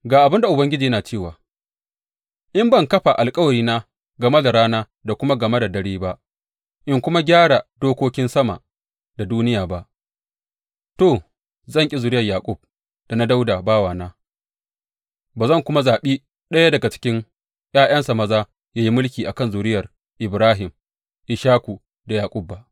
Ga abin da Ubangiji yana cewa, In ban kafa alkawarina game da rana da kuma game da dare ba in kuma gyara dokokin sama da duniya ba, to zan ƙi zuriyar Yaƙub da na Dawuda bawana ba zan kuma zaɓi ɗaya daga cikin ’ya’yansa maza ya yi mulki a kan zuriyar Ibrahim, Ishaku da Yaƙub ba.